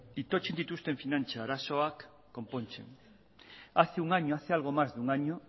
itotzen dituzten finantza arazoak konpontzen hace un año hace algo más de un año